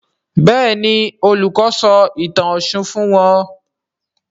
Béèni Olùkó sọ ìtàn òshun fún wón.